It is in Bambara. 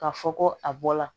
K'a fɔ ko a bɔla